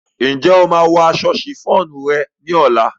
Ǹjẹ́ o máa wọ aṣọ ṣìfóònù rẹ ní ọ̀la?